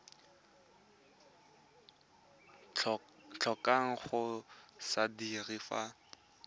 tlhokang go se dira fa